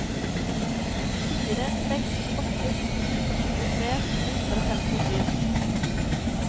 fire seks åtte sju tjuetre to hundre og femtisju